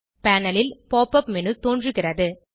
panel ல் pop up menu தோன்றுகிறது